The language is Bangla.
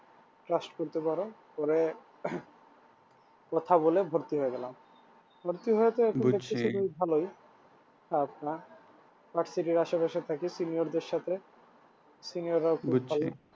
trust করতে পারো পরে কথা বলে ভর্তি হয়ে গেলাম senior দেড় সাথে senior রাও খুব ভালো।